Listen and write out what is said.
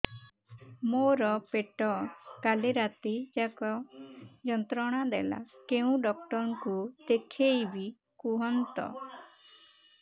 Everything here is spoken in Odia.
ମୋର ପେଟ କାଲି ରାତି ଯାକ ଯନ୍ତ୍ରଣା ଦେଲା କେଉଁ ଡକ୍ଟର ଙ୍କୁ ଦେଖାଇବି କୁହନ୍ତ